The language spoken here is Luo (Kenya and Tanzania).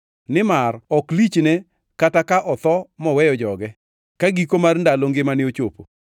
Nimar ok lichne kata ka otho moweyo joge ka giko ndalo mar ngimane ochopo.